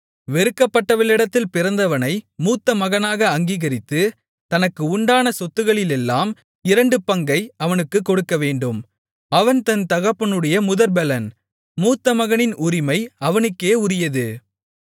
வெறுக்கப்பட்டவளிடத்தில் பிறந்தவனை மூத்தமகனாக அங்கீகரித்து தனக்கு உண்டான சொத்துக்களிலெல்லாம் இரண்டு பங்கை அவனுக்குக் கொடுக்கவேண்டும் அவன் தன் தகப்பனுடைய முதற்பெலன் மூத்தமகனின் உரிமை அவனுக்கே உரியது